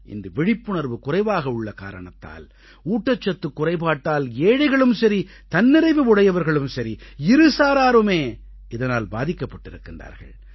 இன்று விழிப்புணர்வு குறைவாக உள்ள காரணத்தால் ஊட்டச்சத்துக் குறைபாட்டால் ஏழைகளும் சரி தன்னிறைவு உடையவர்களும் சரி இருசாராருமே இதனால் பாதிக்கப்பட்டிருக்கின்றார்கள்